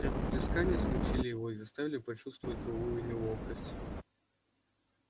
рукоплескания смутили его и заставили почувствовать былую неловкость